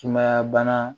Sumaya bana